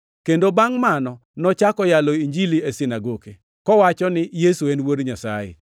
kendo bangʼ mano nochako yalo Injili e sinagoke, kowacho ni Yesu en Wuod Nyasaye.